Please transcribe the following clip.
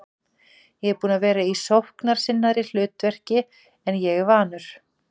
Ég er búinn að vera í sóknarsinnaðra hlutverki en ég er vanur.